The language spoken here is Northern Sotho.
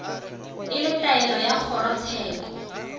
e le taelo ya kgorotsheko